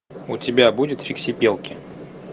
у тебя будет фиксипелки